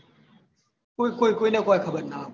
કોઈ કોઈ કોઈને કોઈ ખબર ના હોય